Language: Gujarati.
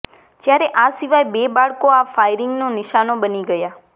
જ્યારે આ સિવાય બે બાળકો આ ફાયરિંગનો નિશાનો બની ગયા